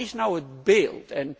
Maar wat is nu het beeld?